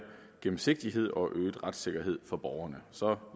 gennemsigtighed og øget retssikkerhed for borgerne så